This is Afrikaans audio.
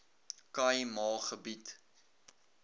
khai ma gebied